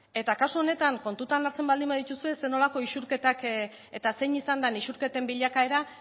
eta kasu honetan kontutan hartzen baldin badituzue zer nolako isurketak eta zein izan den isurketen bilakaera